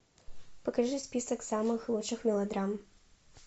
покажи список самых лучших мелодрам